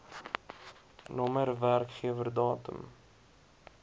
nr werkgewer datum